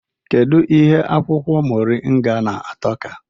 Kedụ ihe akwụkwọ moringa na-atọ ka?